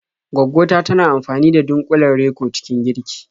Gwaggo ta tana amfani da dunƙulen Reko cikin girki.